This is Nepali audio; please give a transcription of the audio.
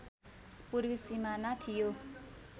पूर्वी सिमाना थियो